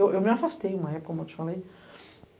Eu me afastei uma época, como eu te falei.